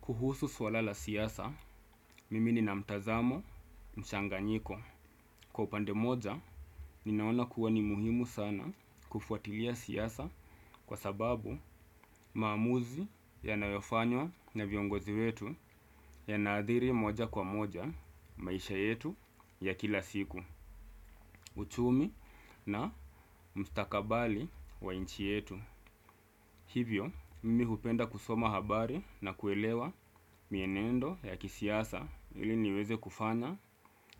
Kuhusu swala la siyasa, mimi ni na mtazamo mchanganyiko. Kwa upande moja, ninaona kuwa ni muhimu sana kufuatilia siyasa kwa sababu maamuzi yanayofanywa na viongozi wetu yanaadhiri moja kwa moja maisha yetu ya kila siku. Uchumi na mstakabali wa inchi yetu. Hivyo, mimi hupenda kusoma habari na kuelewa mienendo ya kisiasa ili niweze kufanya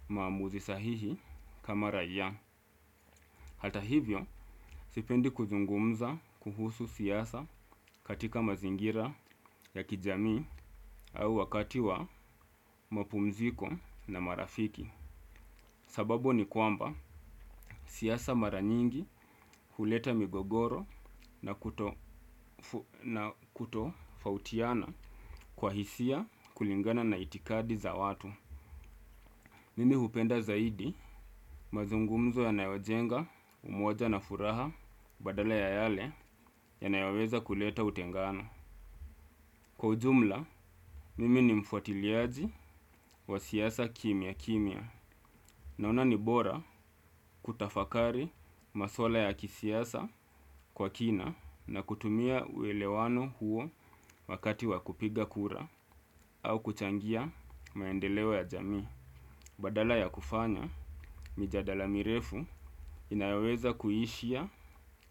maamuzi sahihi kama raiya. Hata hivyo, sipendi kuzungumza kuhusu siyasa katika mazingira ya kijami au wakati wa mapumziko na marafiki. Sababu ni kwamba siyasa mara nyingi huleta migogoro na kutofautiana kwa hisia kulingana na itikadi za watu. Mimi hupenda zaidi mazungumzo yanayo jenga umoja na furaha badala ya yale ya naiwaweza kuleta utengano. Kwa ujumla, mimi ni mfuatiliaji wa siyasa kimia kimia naona nibora kutafakari masuala ya kisiyasa kwa kina na kutumia uelewano huo wakati wakupiga kura au kuchangia maendelewo ya jamii. Badala ya kufanya, mijadala mirefu inayoweza kuhishia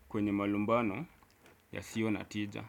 kwenye malumbano yasio na tija.